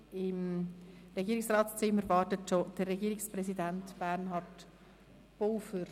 Im Regierungsratszimmer wartet bereits der Herr Regierungspräsident, Bernhard Pulver.